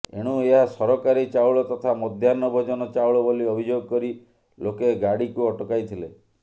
ଏଣୁ ଏହା ସରକାରୀ ଚାଉଳ ତଥା ମଧ୍ୟାହ୍ନଭୋଜନ ଚାଉଳ ବୋଲି ଅଭିଯୋଗ କରି ଲୋକେ ଗାଡିକୁ ଅଟକାଇଥିଲେ